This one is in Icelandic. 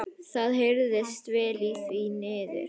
Það heyrðist vel í því niður.